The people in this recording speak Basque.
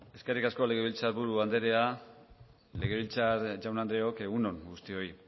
eskerrik asko legebiltzar buru anderea legebiltzar jaun andreok egun on guztioi